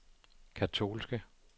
katolske